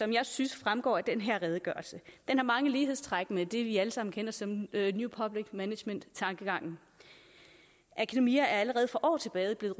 jeg synes fremgår af den her redegørelse har mange lighedstræk med det vi alle sammen kender som new public management tankegangen akademier er allerede for år tilbage blevet